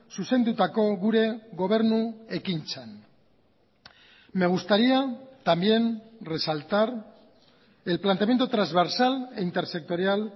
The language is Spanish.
zuzendutako gure gobernu ekintzan me gustaría también resaltar el planteamiento trasversal e intersectorial